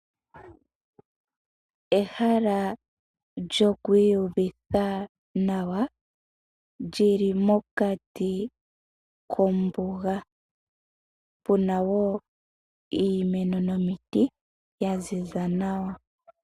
Ehala lyokwiiyuvitha nawa lili mokati kombuga. Opena iimeno nomiti dhaziza nawa.